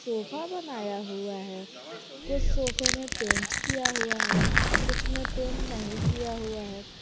Sofa बनाया हुआ है कुछ सोफे में पेंट किया हुआ है कुछ में पेंट नहीं किया हुआ है।